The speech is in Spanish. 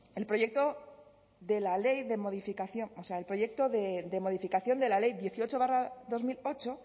el proyecto de modificación de la ley dieciocho barra dos mil ocho